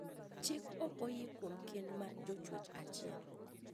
Chik okoyie kuom kend mar jochwech achiel